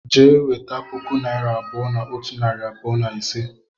Jee weta puku naira abuo na otu nari abuo na ise!